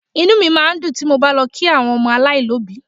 inú máa ń dùn ti mo bá lọ kí àwọn ọmọ aláìní òbí